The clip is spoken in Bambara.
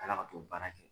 Ka kila ka t'o baara kɛ